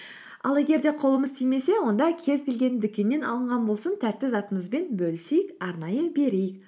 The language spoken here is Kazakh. ал егер де қолымыз тимесе онда кез келген дүкеннен алынған болсын тәтті затымызбен бөлісейік арнайы берейік